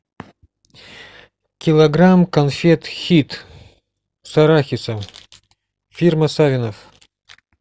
килограмм конфет хит с арахисом фирма савинов